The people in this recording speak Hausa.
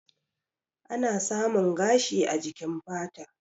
Ana Samun gashi a jikin fata.